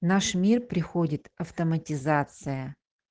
наш мир приходит автоматизация